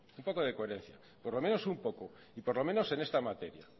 un poco de coherencia por lo menos un poco y por lo menos en esta materia